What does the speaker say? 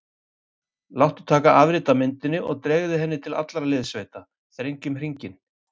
Láttu taka afrit af myndinni og dreifðu henni til allra liðssveita: Þrengjum hringinn.